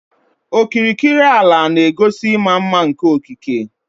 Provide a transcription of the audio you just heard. Okirikiri ala na-egosi ịma mma nke okike.